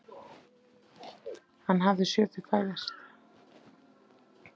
Hann hafði séð þau fæðast.